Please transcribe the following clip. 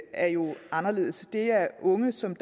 er jo anderledes det er unge som